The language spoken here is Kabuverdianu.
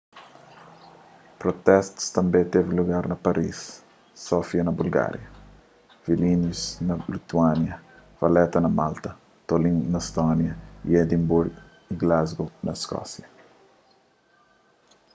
protestus tanbê tevi lugar na paris sofia na bulgária vilnius na lituânia valetta na malta tallinn na estónia y edimburgu y glasgow na iskósia